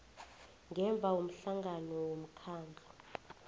ngemva komhlangano womkhandlu